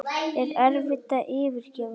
Er erfitt að yfirgefa Þrótt?